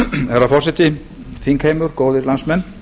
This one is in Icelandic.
herra forseti þingheimur góðir landsmenn